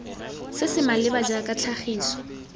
se se maleba jaaka tlhagiso